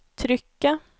trykket